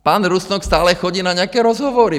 Pan Rusnok stále chodí na nějaké rozhovory.